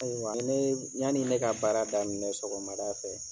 Ayiwa ni ne ye yanni ne ka baara daminɛ sɔgɔmada fɛ.